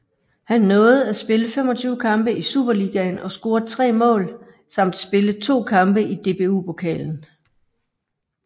Han nåede at spille 25 kampe i Superligaen og score 3 mål samt spille to kampe i DBU Pokalen